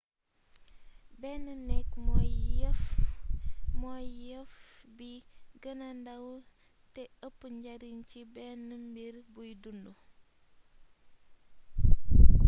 benn néék mooy yeef bi geenee ndaw té eepp njariñ ci benn mbir buy dund